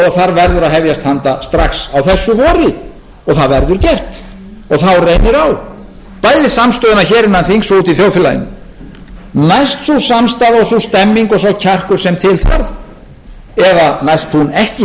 þar verður að hefjast handa strax á þessu vori og það verður gert og þá reynir á bæði samstöðuna hér innan þings og úti í þjóðfélaginu næst sú samstaða og sú stemmning og sá kjarkur sem til þarf eða næst hún ekki í þriðja lagi endurreisn fjármálakerfisins